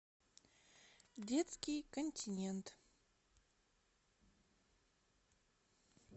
детский континент